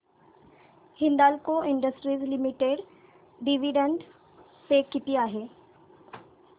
Hindalco industries limited dividend pay किती आहे